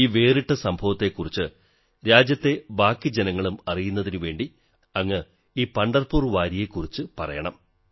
ഈ വേറിട്ട സംഭവത്തെക്കുറിച്ച് രാജ്യത്തെ ബാക്കി ജനങ്ങളും അറിയുന്നതിനുവേണ്ടി അങ്ങ് ഈ പംഢർപൂർ വാരിയെക്കുറിച്ച് പറയണം